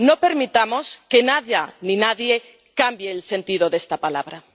No permitamos que nada ni nadie cambie el sentido de esta palabra.